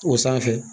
O sanfɛ